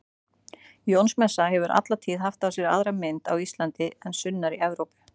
Jónsmessa hefur alla tíð haft á sér aðra mynd á Íslandi en sunnar í Evrópu.